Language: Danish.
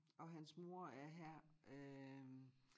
Og hans mor er her øh